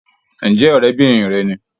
Ǹjẹ́ ọ̀rẹ́bìnrin rẹ ni?